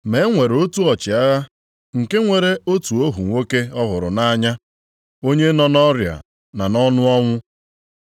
Ma e nwere otu ọchịagha + 7:2 Ọ bụ onye Rom. nke nwere otu ohu nwoke ọ hụrụ nʼanya. Onye nọ nʼọrịa na nʼọnụ ọnwụ.